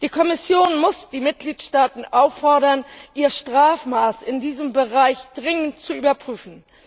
Die Kommission muss die Mitgliedstaaten auffordern, ihr Strafmaß in diesem Bereich dringend zu überprüfen.